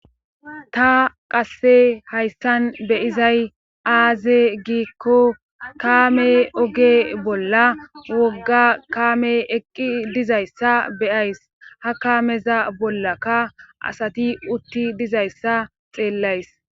ta qasse hayssan beyizay aaze giikko kaame oge bolla wogga kaame eqqi dizayssa beyays ha kaameza bollakka asati utti dizayssa xeellays